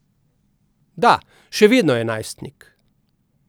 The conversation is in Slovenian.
Da, še vedno je najstnik.